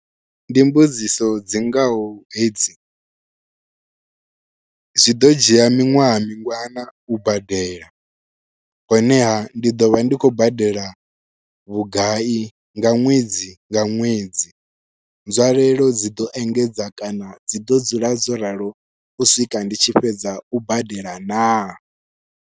Ndi mbudziso dzi ngaho hedzi zwi ḓo dzhia miṅwaha mingana u badela, honeha ndi ḓo vha ndi khou badela vhugai nga ṅwedzi nga ṅwedzi nzwalelo dzi ḓo engedza kana dzi ḓo dzula dzo ralo u swika ndi tshi fhedza u badela naa.